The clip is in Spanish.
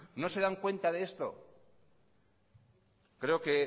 no se dan cuenta de esto creo que